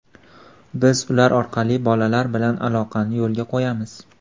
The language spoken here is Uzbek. Biz ular orqali bolalar bilan aloqani yo‘lga qo‘yamiz.